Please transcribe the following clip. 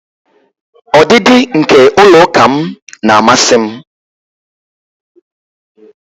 Ọdịdị nke ụlọ ụka m na-amasị m